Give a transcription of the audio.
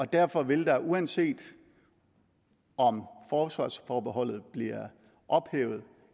derfor vil der uanset om forsvarsforbeholdet bliver ophævet